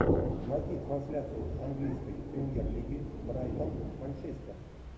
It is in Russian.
найди трансляцию английской премьер лиги брайтон манчестер